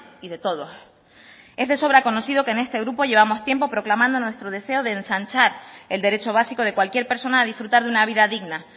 y de todos es de sobra conocido que en este grupo llevamos tiempo proclamando nuestro deseo de ensanchar el derecho básico de cualquier persona a disfrutar de una vida digna